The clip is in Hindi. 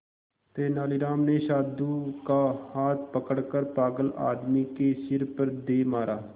तेनालीराम ने साधु का हाथ पकड़कर पागल आदमी के सिर पर दे मारा